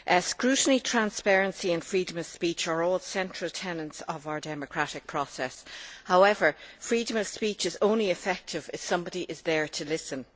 Scrutiny, transparency and freedom of speech are all central tenets of our democratic process. However, freedom of speech is only effective if somebody is there to listen.